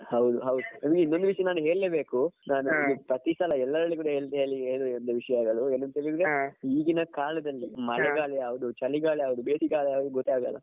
ಹೌದು ಹೌದು ನಿಮ್ಗೆ ಇನ್ನೊಂದು ವಿಷ್ಯ ನಾನು ಹೇಳ್ಳೆ ಬೇಕು ನಾನು ಪ್ರತಿ ಸಲ ಎಲ್ಲರಿಗೂ ಹೇಳುವ ವಿಷಯಗಳು ಏನಂಥ ಹೇಳಿದ್ರೆ ಈಗಿನ ಕಾಲದಲ್ಲಿ ಈಗಿನ ಕಾಲದಲ್ಲಿ ಮಳೆಗಾಲ ಯಾವ್ದು ಚಳಿಗಾಲ ಯಾವ್ದು ಬೇಸಿಗೆಗಾಲ ಯಾವ್ದು ಗೊತ್ತಾಗಲ್ಲ.